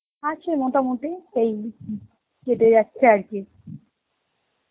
আছে মোটামুটি এই উম কেটে যাচ্ছে আর কি.